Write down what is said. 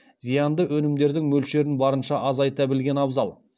зиянды өнімдердің мөлшерін барынша азайта білген абзал